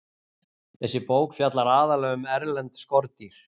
Þessi bók fjallar aðallega um erlend skordýr.